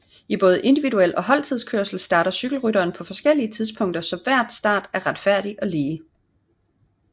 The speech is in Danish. I både individuel og holdtidskørsel starter cykelrytteren på forskellige tidspunkter så hver start er retfærdig og lige